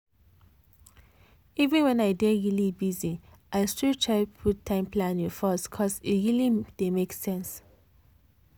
even when i dey busy i still try put time planning first cos e really dey make sense.